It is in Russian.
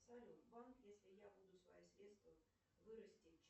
салют банк если я буду свои средства вырасти